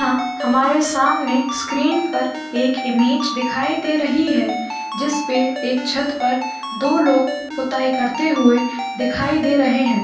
यहाँ हमारे सामने स्क्रीन पर एक ईमेज दिखाई दे रही है। जिसपे एक छत पर दो लोग खुताई करते हुए दिखाई देर दे रहे है।